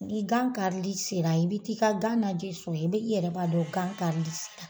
Ni gan karili sera i bi t'i ka gan lajɛ sun na i bɛ i yɛrɛ b'a dɔn gan karili sera.